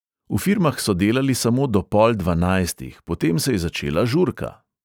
V firmah so delali samo do pol dvanajstih, potem se je začela žurka.